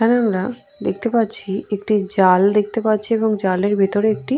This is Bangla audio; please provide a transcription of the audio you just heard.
কেনোনা দেখতে পাচ্ছি একটি জাল দেখতে পাচ্ছি এবং জালের ভেতরে একটি।